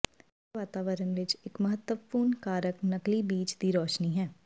ਬੰਦ ਵਾਤਾਵਰਨ ਵਿੱਚ ਇੱਕ ਮਹੱਤਵਪੂਰਨ ਕਾਰਕ ਨਕਲੀ ਬੀਚ ਦੀ ਰੋਸ਼ਨੀ ਹੈ